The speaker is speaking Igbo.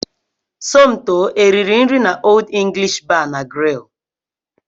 Somto e riri nri n'Old English Bar na Grill?